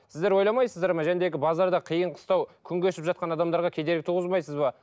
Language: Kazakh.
сіздер ойламайсыздар ма базарда қиын қыстау күн кешіп жатқан адамдарға кедергі туғызбайсыз ба